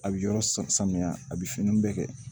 A bi yɔrɔ sama samiya a bi finiw bɛɛ kɛ